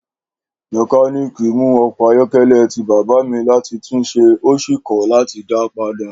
Mekaniki mu ọkọ ayọkẹlẹ ti baba mi lati tunse o si kọ lati da pada.